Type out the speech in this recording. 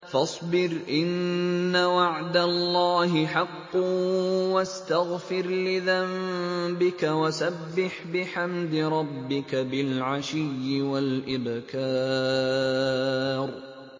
فَاصْبِرْ إِنَّ وَعْدَ اللَّهِ حَقٌّ وَاسْتَغْفِرْ لِذَنبِكَ وَسَبِّحْ بِحَمْدِ رَبِّكَ بِالْعَشِيِّ وَالْإِبْكَارِ